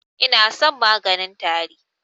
Inason maganin tari.